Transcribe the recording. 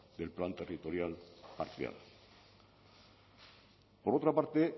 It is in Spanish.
del plan territorial parcial por otra parte